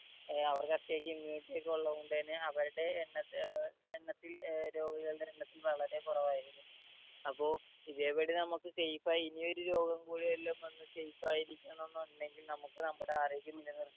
ഏർ അവർക്കത്യാവശ്യം immunity ഒക്കെ ഉള്ളോണ്ടന്നെ അവർടെ എണ്ണത്തിൽ ഏർ എണ്ണത്തിൽ ഏർ രോഗികളുടെ എണ്ണത്തിൽ വളരെ കൊറവായിരുന്നു അപ്പൊ ഇതേപടി നമ്മക് safe ആയി ഇനിയൊരു രോഗം കൂടി വരില്ലമ്മ എന്ന safe ആയി ഇരിക്കണം എന്നുണ്ടെങ്കിൽ നമുക്ക് നമ്മുടെ ആരോഗ്യം നിലനിർത്തണം